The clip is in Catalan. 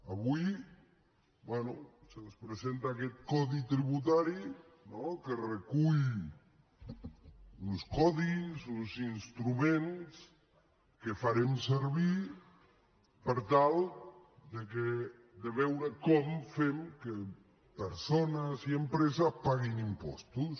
avui bé se’ns presenta aquest codi tributari no que recull uns codis uns instruments que farem servir per tal de veure com fem que persones i empreses paguin impostos